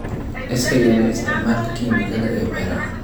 Iska yaree isticmaalka kiimikada ee beeraha.